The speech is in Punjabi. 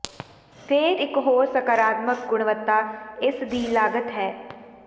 ਫ਼ੇਰ ਇੱਕ ਹੋਰ ਸਕਾਰਾਤਮਕ ਗੁਣਵੱਤਾ ਇਸ ਦੀ ਲਾਗਤ ਹੈ